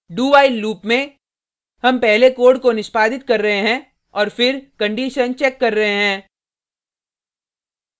dowhile loop में हम पहले कोड को निष्पादित कर रहे हैं और फिर कंडिशन चेक कर रहे हैं